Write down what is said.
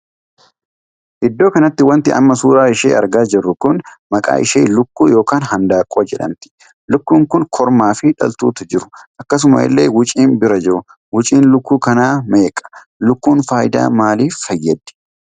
Iddoo kanatti wanti amma suuraa ishee argaa jirru kun maqaa ishee lukkuu ykn handaaqqoo jedhamti. lukkuun kun kormaa fi dhaltuutu jiru. akkasuma illee wuciin bira jirtu. wuciin lukkuu kana meeqa? Lukkuun faayidaa maaliif fayyaddi?